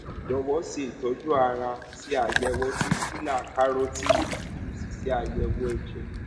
jọwọ ṣe ìtọjú ara ṣe àyẹwò dọpílà kárótíìdì kí o sì ṣe àyẹwò ẹjẹ